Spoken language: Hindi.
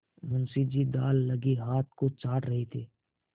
मुंशी जी दाललगे हाथ को चाट रहे थे